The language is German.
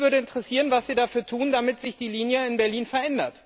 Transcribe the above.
Mich würde interessieren, was Sie dafür tun, dass sich die Linie in Berlin verändert.